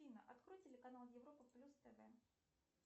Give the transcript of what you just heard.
афина открой телеканал европа плюс тв